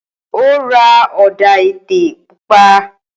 Ó ra ọ̀dà-ètè pupa.